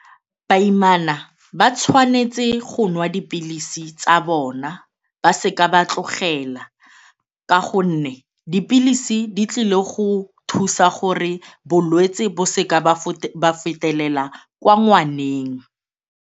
Baimana ba tshwanetse go nwa dipilisi tsa bona, ba seka ba tlogela ka gonne dipilisi di tlile go thusa gore bolwetse bo seka ba fetelela kwa ngwaneng.